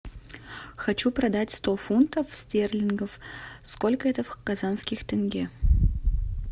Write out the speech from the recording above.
хочу продать сто фунтов стерлингов сколько это в казахских тенге